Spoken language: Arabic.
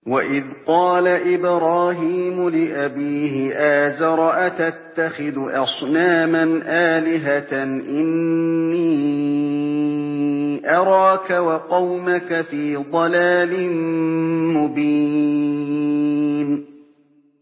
۞ وَإِذْ قَالَ إِبْرَاهِيمُ لِأَبِيهِ آزَرَ أَتَتَّخِذُ أَصْنَامًا آلِهَةً ۖ إِنِّي أَرَاكَ وَقَوْمَكَ فِي ضَلَالٍ مُّبِينٍ